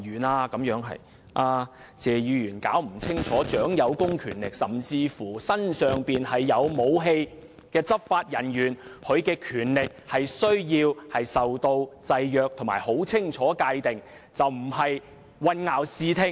謝議員未能搞清楚，掌有公權力，甚至身上有武器的執法人員的權力須受到制約及很清楚地界定，而並非混淆視聽。